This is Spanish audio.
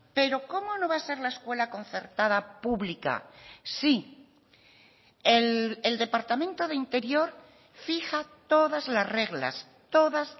pero cómo no va a ser la escuela concertada pública si el departamento de interior fija todas las reglas todas